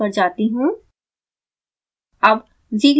अब मैं स्लाइड्स पर जाती हूँ